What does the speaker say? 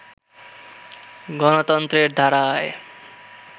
গণতন্ত্রের ধারায়